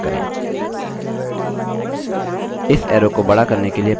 इस arrow को बड़ा करने के लिए पहले इसे चुनें